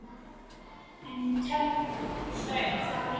En tekst það ekki.